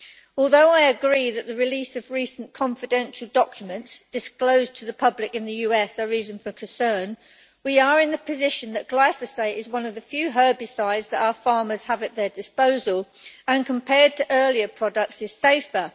Although I agree that the release of recent confidential documents disclosed to the public in the US are reason for concern, we take the position that glyphosate is one of the few herbicides that our farmers have at their disposal, and compared to earlier products is safer.